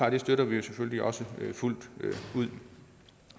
at det støtter vi selvfølgelig også fuldt ud